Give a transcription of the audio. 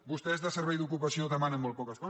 vostès de servei d’ocupació demanen molt poques coses